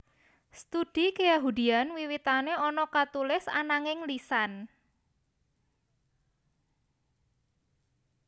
Studi keyahudian wiwitane ana katulis ananging lisan